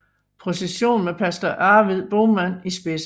Procession med pastor Arvid Boman i spidsen